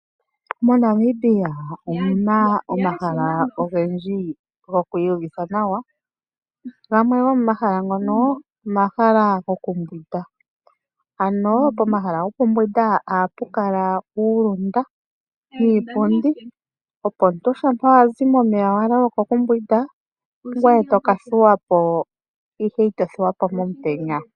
MoNamibia omu na omahala ogendji goku iyuvitha nawa. Gamwe gomomahala ngano omahala gokumbwinda ohapu kala uulunda niipundi, opo shi omuntu ta zi momeya ngele a loloka okumbwinda ye ota ka thulwa po, ihe ita thuwa po e li momutenya.